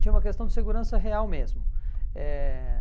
Tinha uma questão de segurança real mesmo. Eh